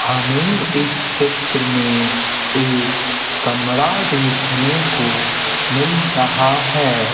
हमें इस चित्र में एक कमरा देखने को मिल रहा है।